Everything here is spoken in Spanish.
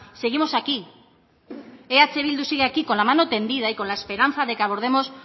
seguimos aquí eh bildu sigue aquí con la mano tendida y con la esperanza de que abordemos